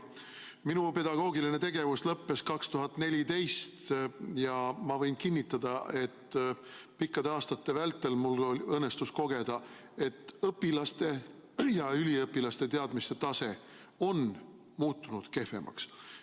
Minu pedagoogiline tegevus lõppes aastal 2014 ja ma võin kinnitada, et pikkade aastate vältel mul õnnestus kogeda, et õpilaste ja üliõpilaste teadmiste tase on muutunud kehvemaks.